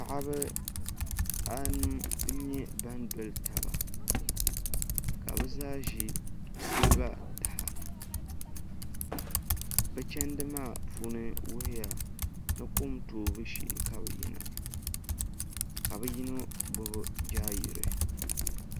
Paɣiba a nu n yɛ ban doli taba ka bo zaa zi siliba taha bi chɛndi maa wuhiya ni kom too bu shɛɛ ka bi yina ka bi yino gbubi jaayirei.